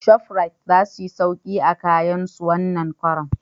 Shofrit za suyi sauki a kayan su wannan karan